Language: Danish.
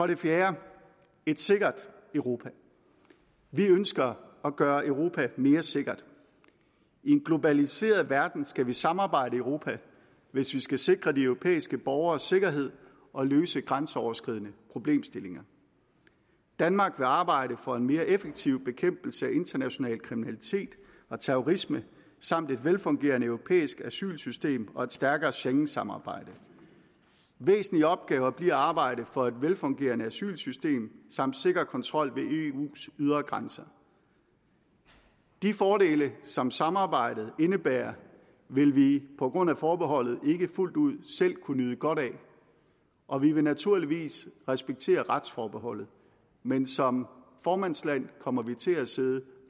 det fjerde er et sikkert europa vi ønsker at gøre europa mere sikkert i en globaliseret verden skal vi samarbejde i europa hvis vi skal sikre de europæiske borgeres sikkerhed og løse grænseoverskridende problemstillinger danmark vil arbejde for en mere effektiv bekæmpelse af international kriminalitet og terrorisme samt et velfungerende europæisk asylsystem og et stærkere schengensamarbejde væsentlige opgaver bliver at arbejde for et velfungerende asylsystem samt sikker kontrol ved eus ydre grænser de fordele som samarbejdet indebærer vil vi på grund af forbeholdet ikke fuldt ud selv kunne nyde godt af og vi vil naturligvis respektere retsforbeholdet men som formandsland kommer vi til at sidde